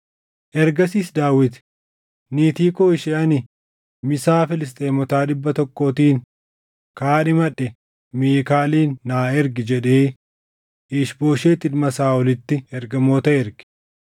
Ergasiis Daawit, “Niitii koo ishee ani misaa Filisxeemota dhibba tokkootiin kaadhimadhe Miikaalin naa ergi” jedhee Iish-Booshet ilma Saaʼolitti ergamoota erge.